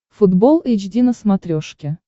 футбол эйч ди на смотрешке